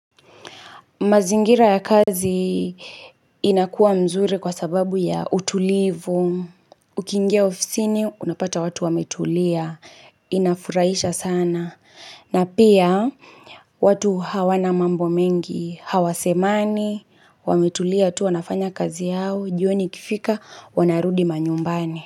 Mazingira ya kazi inakua nzuri kwa sababu ya utulivu. Ukiingia ofisini unapata watu wametulia. Inafuraisha sana. Na pia watu hawana mambo mengi. Hawa semani. Wametulia tu wanafanya kazi yao. Jioni ikifika wanarudi manyumbani.